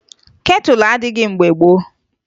ketụlụ adịghị mgbe gboo